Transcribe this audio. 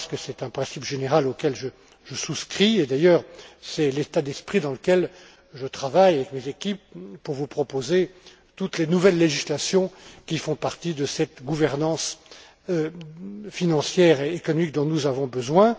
à M. Karas que c'est un principe général auquel je souscris, et c'est d'ailleurs l'état d'esprit dans lequel je travaille avec mes équipes pour vous proposer toutes les nouvelles législations qui font partie de cette gouvernance financière et économique dont nous avons besoin.